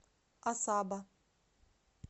асаба